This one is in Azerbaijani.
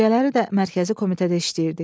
Gecələri də mərkəzi komitədə işləyirdik.